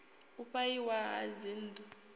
u fha iwa ha dzinnḓu